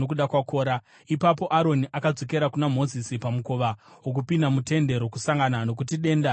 Ipapo Aroni akadzokera kuna Mozisi pamukova wokupinda muTende Rokusangana, nokuti denda rakanga rapera.